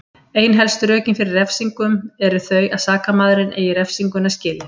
Ein helstu rökin fyrir refsingum eru þau að sakamaðurinn eigi refsinguna skilið.